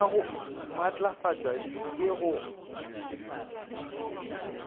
ka go matlafatšwa ke go